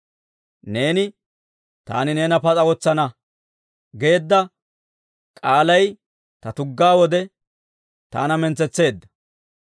Neeni, «Taani neena pas'a wotsana» geedda k'aalay ta tuggaa wode taana mintsetseedda.